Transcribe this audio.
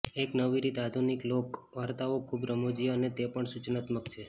એક નવી રીત આધુનિક લોક વાર્તાઓ ખૂબ રમુજી અને તે પણ સુચનાત્મક છે